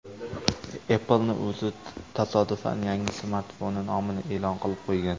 Apple’ning o‘zi tasodifan yangi smartfoni nomini e’lon qilib qo‘ygan.